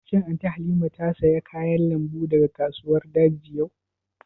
Shin Anty Halima ta saya kayan lambu daga kasuwar daji yau?